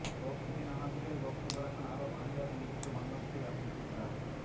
প্রবাসীদের নানা বিষয়ে বক্তব্য রাখেন আরব আমিরাতে নিযুক্ত বাংলাদেশের রাষ্ট্রদূত ডা